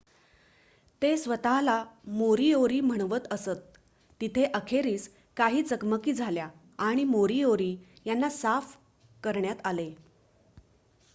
ते स्वत:ला मोरीओरी म्हणवत असत तिथे अखेरीस काही चकमकी झाल्या आणि मोरीओरी यांना साफ करण्यात आले